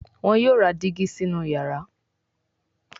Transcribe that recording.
wón yóò rà Dígí sínú iyàrá.